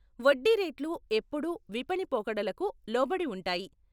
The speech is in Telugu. వడ్డీ రేట్లు ఎప్పుడూ విపణి పోకడలకు లోబడి ఉంటాయి.